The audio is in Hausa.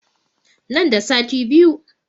Nan da sati biyu